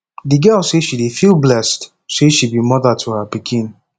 di girl say she dey feel blessed sey she be moda to her pikin